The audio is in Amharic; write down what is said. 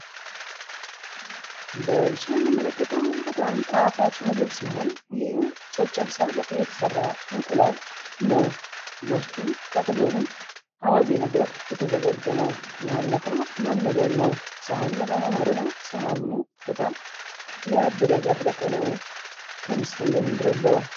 በምስሉ የምንመለከተዉ በጣም ጣፋጭ ምግብ ሲሆን ይህም ጨጨብሳ በቅቤ የተሰራ አንቁላል ነዉ። በዉስጡም ከአጠገቡም አዋዜ ነገር የተዘጋጀ ነዉ። ያህን ነክሮ መመገብ ነዉ። ሰሀኑም በጣም ያብረቀረቀ ነዉ። ከምስሉ እንደምንረዳዉ።